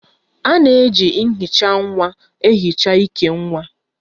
A na-eji nhicha nwa ehicha íkè nwa